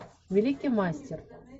великий мастер